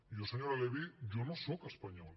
jo senyora levy jo no sóc espanyol